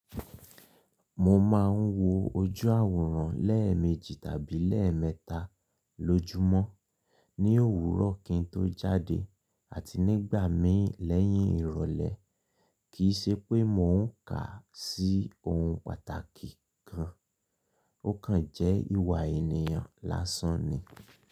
Mo máa ń wo ojú àwòrán lẹ́ẹ̀mejì tàbí lẹ́ẹ̀mẹ́ta lójúmọ́, ní òwúrọ̀ kí n tó jáde àti nígbà míì lẹ́yìn ìrọ̀lẹ́. Kì ṣe pé mò ń kà sí ohun pàtàkì kan, ó kan jẹ́ ìwà ènìyàn lásán ni.